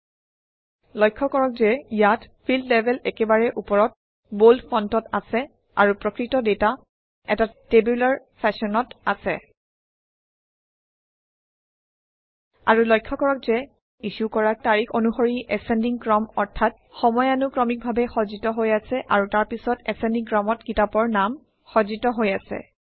আৰু লক্ষ্য কৰক যে ই ইছ্যু কৰা তাৰিখ অনুসৰি এছেণ্ডিং ক্ৰম অৰ্থাৎ সময়ানুক্ৰমিকভাৱে সজ্জিত হৈ আছে আৰু তাৰপিছত এছেণ্ডিং ক্ৰমত কিতাপৰ নাম সজ্জিত হৈ আছে